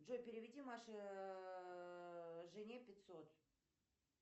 джой переведи маше жене пятьсот